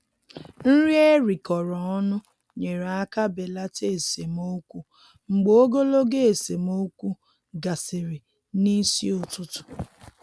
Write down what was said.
Nri erikọrọ ọnụ nyere aka belata esemokwu mgbe ogologo esemokwu gasịrị n'isi ụtụtụ.